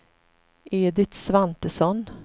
Edit Svantesson